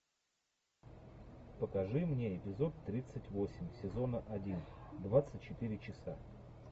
покажи мне эпизод тридцать восемь сезона один двадцать четыре часа